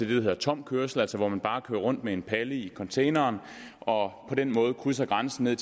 hedder tom kørsel altså det at man bare kører rundt med en palle i containeren og på den måde krydser grænsen